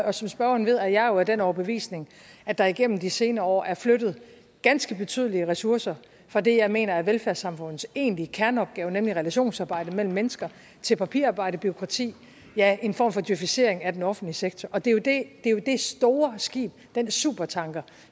og som spørgeren ved er jeg jo af den overbevisning at der igennem de senere år er flyttet ganske betydelige ressourcer fra det jeg mener er velfærdssamfundets egentlige kerneopgave nemlig relationsarbejde mellem mennesker til papirarbejde og bureaukrati ja en form for djøfisering af den offentlige sektor og det er jo dét store skib dén supertanker